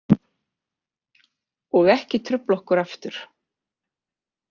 Og ekki trufla okkur aftur.